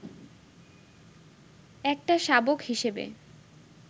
একটা শাবক হিসেবে